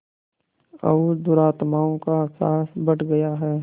और दुरात्माओं का साहस बढ़ गया है